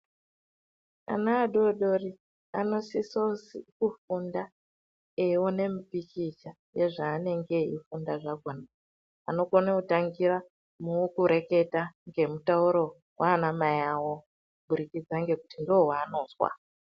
Ana adodori anosisozi kufunda eione mipikicha yezvaanenge eifunda zvakhona. Anokone kutangira mukureketa ngemutauro waanamai awo ,kuburikidza ngekuti ndowaanozwa.